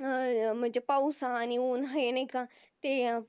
अह म्हणजे पाऊस हा आणि उन्ह नाही का